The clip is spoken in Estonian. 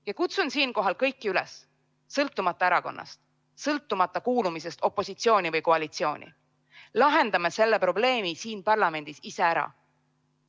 Ma kutsun siinkohal kõiki üles: sõltumata erakonnast, sõltumata kuulumisest opositsiooni või koalitsiooni, lahendame selle probleemi siin parlamendis ise ära!